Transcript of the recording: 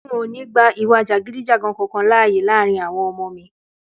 N ò ní gba ìwà jàgídíjàgan kankan láàyè láàárín àwo̩n o̩mo̩ mi